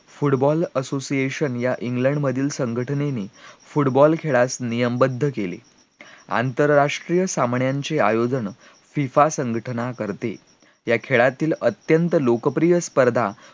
football association या England मधील संघटनेने football खेळात नियमबद्ध केले आंतरराष्ट्रीय सामन्याचे आयोजन FIFA संघटना करते या खेळातील अत्यंत लोकप्रिय स्पर्धा